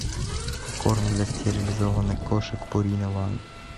корм для стерилизованных кошек пурина ван